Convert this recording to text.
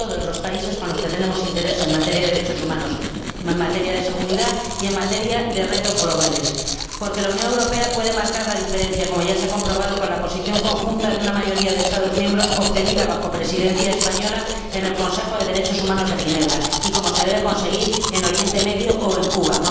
Con todos los países con los que tenemos interés en materia de derechos humanos, en materia de seguridad y en materia de retos globales, porque la Unión Europea puede marcar la diferencia, como ya se ha comprobado con la posición conjunta de una mayoría de Estados miembros obtenida bajo Presidencia española en el Consejo de Derechos Humanos en Ginebra y como se debe conseguir en Oriente Próximo o en Cuba.